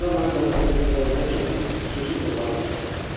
Sonra mən donuz ətini hisə vermək üçün xüsusi buxarı tikərəm.